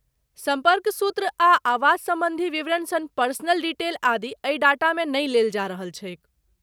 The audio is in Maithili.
सम्पर्क सूत्र आ आवास सम्बन्धी विवरण सन पर्सनल डिटेल आदि, एहि डेटामे नहि लेल जा रहल छैक।